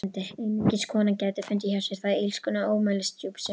Einungis kona gæti fundið hjá sér það illskunnar ómælisdjúp sem